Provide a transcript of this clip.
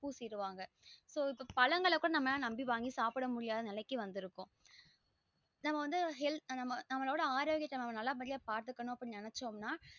பூசிருவாங்க so இப்போ பழங்கள கூட நம்ம நம்பி வாங்கி சாப்ட முடியாது நிலைக்கு வந்துருக்கோம் நம்ம வந்து healthy நமளோட ஆரோக்கியத்த நம்ம நல்ல படியா பாத்துகனும் நினைச்சோம் நா